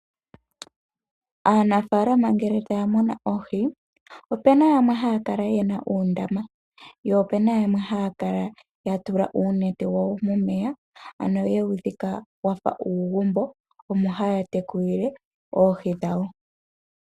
Aanafalama ngele taya munu oohi opena yamwe haya kala yena uundama, po opena yamwe haya kala yatula uunete momeya, ye wu dhika wafa uugumbo omo haya tekulile oohi dhawo.